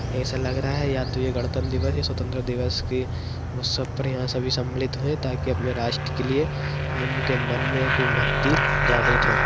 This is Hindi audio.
ऐसा लग रहा है या तो ये गणतंत्र दिवस है या स्वतंत्र दिवस की सभी सम्मलित हुए ताकि अपने राष्ट्र के लिए उनके मन मे एक भक्ति जागृत हो।